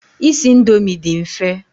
Isi indomi dị mfe.